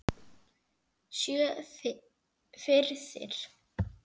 Sjö firðir!